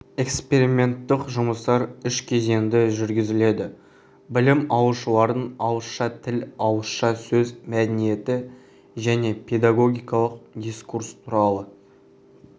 эксперименттік жұмыстар үш кезеңде жүргізілді білім алушылардың ауызша тіл ауызша сөз мәдениеті және педагогикалық дискурс туралы